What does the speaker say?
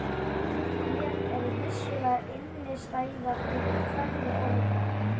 Ert þú á skjön við aðra íbúa?